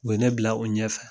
U ye ne bila o ɲɛ fɛ